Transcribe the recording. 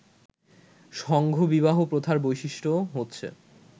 সংঘ-বিবাহ প্রথার বৈশিষ্ট্য হচ্ছে